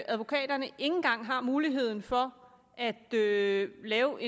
advokaterne ikke engang har mulighed for at lave lave